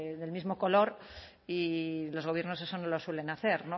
del mismo color y los gobiernos eso no lo suelen hacer